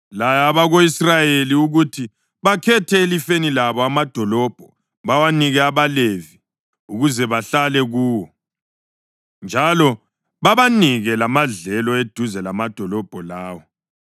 “Laya abako-Israyeli ukuthi bakhethe elifeni labo amadolobho bawanike abaLevi ukuze bahlale kuwo. Njalo babanike lamadlelo eduze lamadolobho lawo.